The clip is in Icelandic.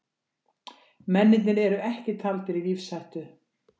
Mennirnir eru ekki taldir í lífshættu